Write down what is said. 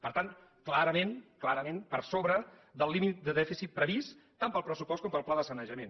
per tant clarament clarament per sobre del límit de dèficit previst tant pel pressupost com pel pla de sanejament